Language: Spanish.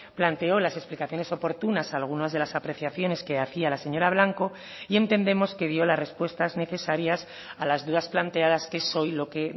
planteó las explicaciones oportunas algunas de las apreciaciones que hacía la señora blanco y entendemos que dio las respuestas necesarias a las dudas planteadas que es hoy lo que